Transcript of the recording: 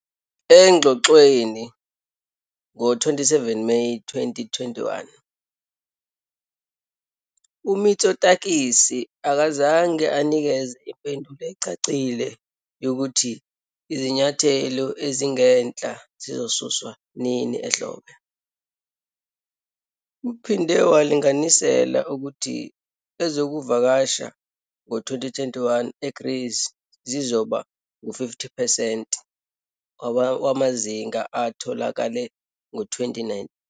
Engxoxweni ngo-27 Meyi 2021, uMitsotakis akazange anikeze impendulo ecacile yokuthi izinyathelo ezingenhla zizosuswa nini ehlobo. Uphinde walinganisela ukuthi ezokuvakasha ngo-2021 eGreece zizoba ngu-50 percent wamazinga atholakele ngo-2019.